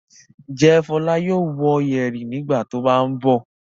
Ǹjẹ́ Fọlá yóò wō yẹ̀rì nígbà tó bá ń bọ̀?